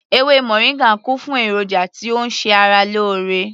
Ewé moringa kún fún èròjà tí ó ń ṣe ara lóore